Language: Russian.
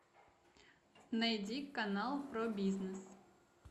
найди канал про бизнес